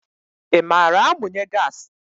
I maara amunye gaasi?